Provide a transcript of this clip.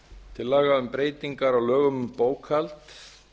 til laga um breytingar á lögum um bókhald